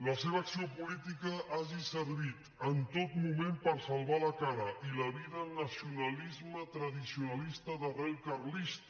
la seva acció política hagi servit en tot moment per salvar la cara i la vida al nacionalisme tradicionalista d’arrel carlista